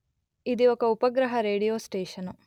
ఇది ఒక ఉపగ్రహ రేడియో స్టేషను